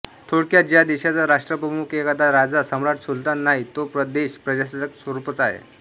थोडक्यात ज्या देशाचा राष्ट्रप्रमुख एखादा राजा सम्राट सुलतान नाही तो देश प्रजासत्ताक स्वरूपाचा आहे